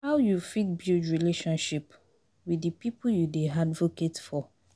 How you fit build relationship with di people you dey advocate for?